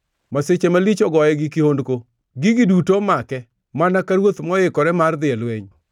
Masiche malich ogoye gi kihondko, gigi duto omake, mana ka ruoth moikore mar dhi e lweny,